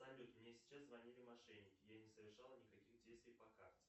салют мне сейчас звонили мошенники я не совершал никаких действий по карте